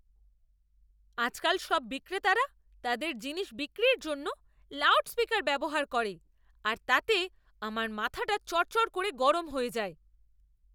আজকাল সব বিক্রেতারা তাদের জিনিস বিক্রির জন্য লাউডস্পিকার ব্যবহার করে আর তাতে আমার মাথাটা চড়চড় করে গরম হয়ে যায়।